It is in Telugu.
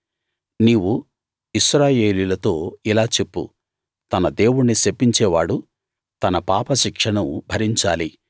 నీవు ఇశ్రాయేలీయులతో ఇలా చెప్పు తన దేవుణ్ణి శపించేవాడు తన పాపశిక్షను భరించాలి